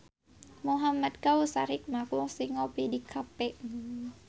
Muhamad Kautsar Hikmat kungsi ngopi di cafe